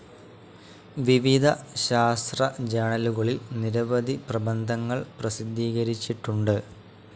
വിവിധ ശാസ്ത്ര ജേണലുകളിൽ നിരവധി പ്രബദ്ധങ്ങൾ പ്രസിധീകരിച്ചിട്ടുണ്ട്.